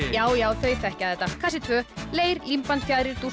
já já þau þekkja þetta kassi tveggja leir límband fjaðrir